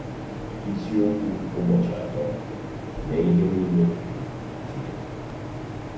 Isiokwu Ụbọchị Atọ: “Mee Ihe Nile Maka Otuto Chineke”